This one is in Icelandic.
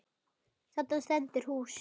Þarna stendur húsið.